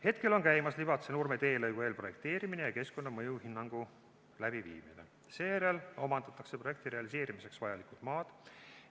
" Hetkel on käimas Libatse–Nurme teelõigu eelprojekteerimine ja keskkonnamõju hindamine, seejärel omandatakse objekti realiseerimiseks vajalikud maad.